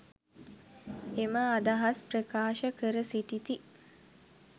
එම අදහස් ප්‍රකාශ කර සිටිති.